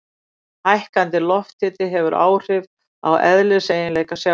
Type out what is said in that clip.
Hækkandi lofthiti hefur áhrif á eðliseiginleika sjávar.